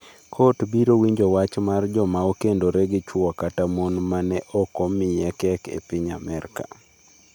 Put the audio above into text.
Kot biro winjo wach mar joma okendore gi chwo kata mon ma ne ok omiye kek e piny Amerka